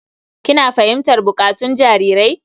Kina fahimtar buƙatun jarirai?